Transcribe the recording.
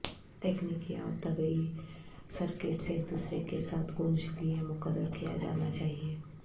تکنیکی اور طبی سرکٹس ایک دوسرے کے ساتھ گونج لئے مقرر کیا جانا چاہیے